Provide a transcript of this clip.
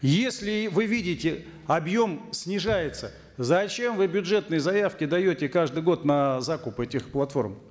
если вы видите объем снижается зачем вы бюджетные заявки даете каждый год на закуп этих платформ